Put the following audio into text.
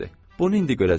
Bunu indi görəcəksiz.